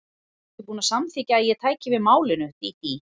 Varstu ekki búin að samþykkja að ég tæki við málinu, Dídí?